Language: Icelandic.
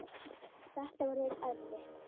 Þetta verður erfitt.